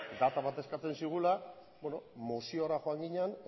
data bat eskatzen zigula moziora joan ginen